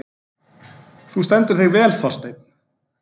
Þú stendur þig vel, Þorsteinn!